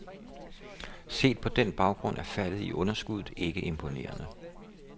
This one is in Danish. Set på den baggrund er faldet i underskuddet ikke imponerende.